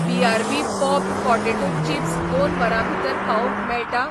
BRB पॉपड potato chips दोन वरां भितर पावोवंक मेळटा?